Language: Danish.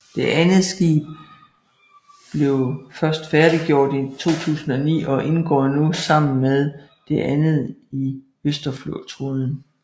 Det andet skib blev først færdiggjort i 2009 og indgår nu sammen med det andet i Østersøflåden